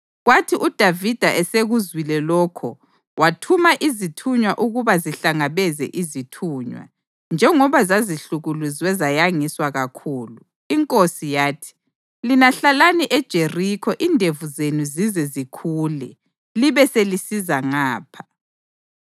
Kwathi uDavida esekuzwile lokho wathuma izithunywa ukuba zihlangabeze izithunywa, njengoba zazihlukuluzwe zayangiswa kakhulu. Inkosi yathi, “Lina hlalani eJerikho indevu zenu zize zikhule, libe selisiza ngapha.”